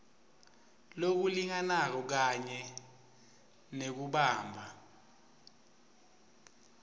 lokulinganako kanye nekubamba